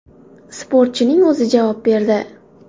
Sportchining o‘zi javob berdi.